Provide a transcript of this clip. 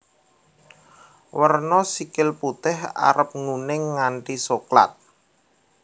Werna sikil putih arep nguning nganti soklat